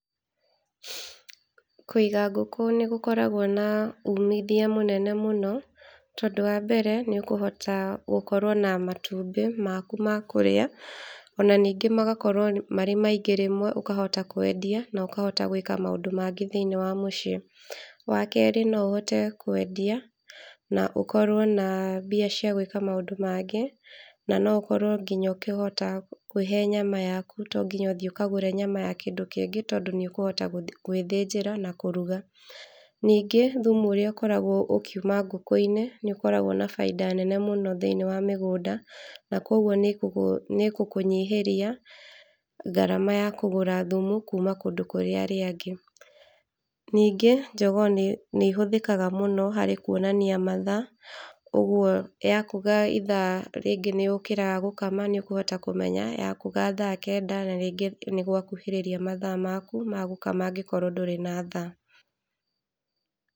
Kũiga ngũkũ nĩgũkoragwo na ũmithio mũnene mũno, tondũ wa mbere nĩ ũkũhota gũkorwo na matumbĩ maku ma kũrĩa, ona ningĩ magakorwo marĩ maingĩ rĩmwe ũkahota kwendia na ũkahota gwĩka maũndũ mangĩ thĩiniĩ wa mũciĩ. Wa kerĩ no ũhote kwendia na ũkorwo na mbica cĩa gwĩka maũndũ mangĩ , na no ũkorwo nginya ũkĩhota kwĩhe nyama yaku to nginya ũthii ũkagũre nyama ya kĩndũ kĩngĩ, tondũ nĩ ũkũhota gwĩthĩnjĩra na kũruga. Ningĩ thumu ũrĩa ũkoragwo ũkiuma ngũkũ-inĩ nĩ ũkoragwo na bainda nene mũno thĩiniĩ wa mĩgũnda, na kogwo nĩ ĩgũkũnyihiria ngarama ya kũgũra thumu kuma kũndũ kũrĩa kũrĩ arĩa angĩ. Ningĩ njogoo nĩ ĩhũthĩkaga mũno harĩ kuonania mathaa, ũguo yakũga rĩngĩ nĩ ũkĩraga gũkama, nĩ ũkũhota kũmenya yakũga thaa kenda na rĩngĩ nĩgwakuhĩrĩria mathaa maku magũkama angĩkorwo ndũrĩ na thaa.